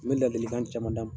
N bɛ ladilikan caman da ma.